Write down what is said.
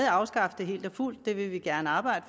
afskaffe det helt og fuldt og det vil vi gerne arbejde